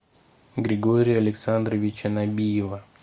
григория александровича набиева